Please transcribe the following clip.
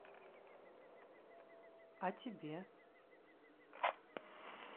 а тебе